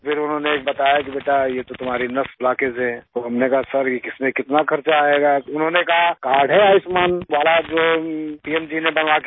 फिर उन्होंने बताया कि बेटा ये तो तुम्हारी नस ब्लॉकेज है तो हमने कहा सिर इसमें कितना खर्चा आयेगा तो उन्होंने कहा कार्ड है आयुष्मान वाला जो पीएम जी ने बना के दिया